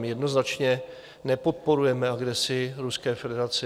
My jednoznačně nepodporujeme agresi Ruské federace.